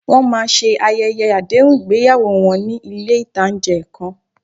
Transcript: Wọ́n máa ṣe ayẹyẹ àdéhùn ìgbéyàwó wọn ní ilé ìtánjẹ kan